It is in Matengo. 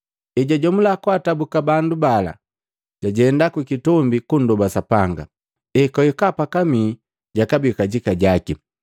Ejajomula kwaatabuka bandu bala jajenda kukitombi kundoba Sapanga, ekwahika pakamii jakabii kajika jaki,